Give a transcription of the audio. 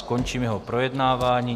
Končím jeho projednávání.